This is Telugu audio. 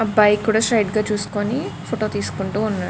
అబ్బాయి కూడా స్ట్రెయిట్ చూసుకొని ఫోటో తీస్కుంటు ఉన్నాడు.